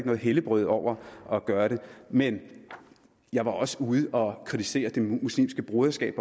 nogen helligbrøde over at gøre det men jeg var også ude at kritisere det muslimske broderskab